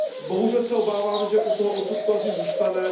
Bohužel se obávám, že u toho odsudku asi zůstane.